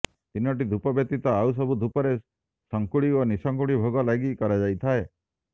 ତିନିଟିି ଧୂପ ବ୍ୟତୀତ ଆଉସବୁ ଧୂପରେ ସଙ୍ଖୁଡ଼ି ଓ ନିସଙ୍ଖୁଡ଼ି ଭୋଗ ଲାଗି କରାଯାଇଥାଏ